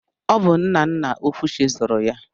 Ọ bụ nna nna Okwuchi zụrụ ya.